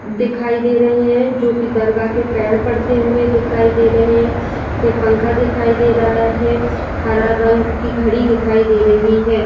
दिखाई दे रहे है जोकि दरगाह के पैर पड़ते हुए दिखाई दे रहे है। एक पंखा दिखाई दे रहा है। हरा रंग की घड़ी दिखाई दे रही है।